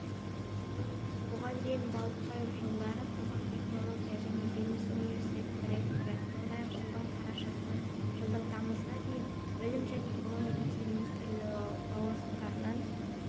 бұған дейін балықбаев жылдары қазақ технология және бизнес университетінің ректоры сондай-ақ жылдың қарашасынан жылдың тамызына дейін білім және ғылым вице-министрі лауазымындарын